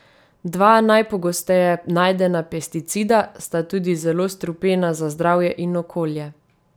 Dva najpogosteje najdena pesticida sta tudi zelo strupena za zdravje in okolje.